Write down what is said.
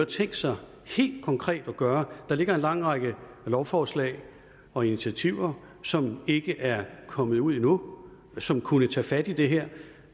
tænkt sig helt konkret at gøre der ligger en lang række lovforslag og initiativer som ikke er kommet ud endnu som kunne tage fat i det her